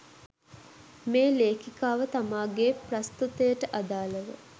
මේ ලේඛිකාව තමාගේ ප්‍රස්තුතයට අදාළව